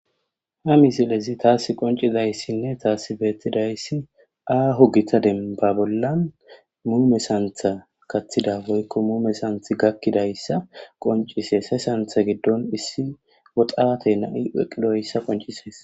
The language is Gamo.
ha mizilezi taas qoncidayssinne taasi beettidayssi aaho gita demba bollan muu mesantha kaththida boykko muu mesanth gakkidayssa qoncise sesantha giddon issi woxaate na7i weqidoyssa qonciseys